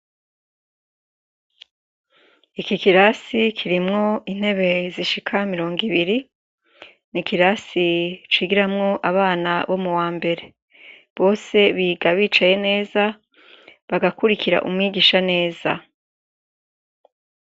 Ico kirasi kirimwo intebe zishika mirongo ibiri, ni kirasi cigiramwo abana bo muwa mbere. Bose biga bicaye neza, bagakurikira umwigisha neza.